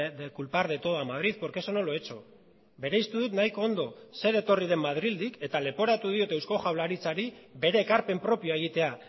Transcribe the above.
de culpar de todo a madrid porque eso no lo he hecho bereiztu dut nahiko ondo zer etorri den madrildik eta leporatu diot eusko jaurlaritzari bere ekarpen propioa egitea